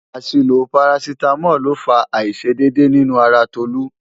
Àṣìlò parasítámọ̀ ló fa àìṣedédé nínú ara Tolú.